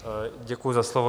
Děkuji za slovo.